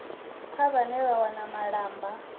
kha vhane vha wana malamba